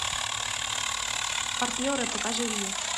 партнеры покажи мне